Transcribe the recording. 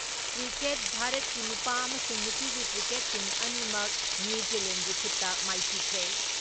Cricket ꯚꯥꯔꯠꯀꯤ ꯅꯨꯄꯥ ꯑꯃꯁꯨꯡ ꯅꯨꯄꯤꯒꯤ ꯀ꯭ꯔꯤꯀꯦꯠ ꯇꯤꯝ ꯑꯅꯤꯃꯛ ꯅ꯭ꯌꯨ ꯖꯦꯂꯦꯟꯒꯤ ꯈꯨꯠꯇ ꯃꯥꯏꯊꯤꯈ꯭ꯔꯦ ꯫